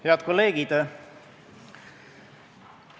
Head kolleegid!